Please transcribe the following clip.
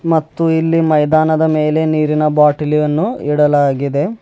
ಮತ್ತು ಇಲ್ಲಿ ಮೈದಾನದ ಮೇಲೆ ನೀರಿನ ಬಾಟಲಿ ಅನ್ನು ಇಡಲಾಗಿದೆ.